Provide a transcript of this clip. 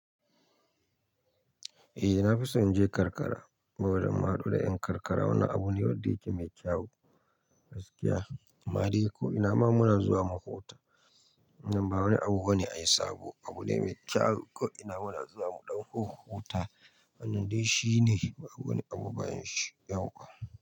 Eh na fi son inje karkara saboda madura. In karkara wani abu ne wanda yake mai kyau, gaskiya. Ammade ko ina ma muna zuwa mu huta. Nan ba wani abu bane ai sabo, abu ne mai kyau ko ina muna zuwa mu ɗanhu huta. Nan dai shi ne babu wani abu bayan shi yauwa.